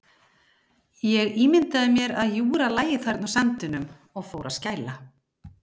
Ég ímyndaði mér að Júra lægi þarna á sandinum og fór að skæla.